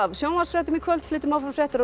sjónvarpsfréttum í kvöld flytjum áfram fréttir á